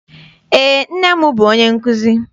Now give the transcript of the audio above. Eé, nne m bụ onye nkụzi.